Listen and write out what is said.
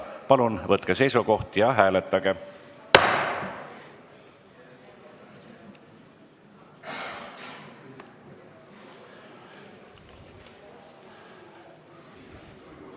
Palun võtke seisukoht ja hääletage!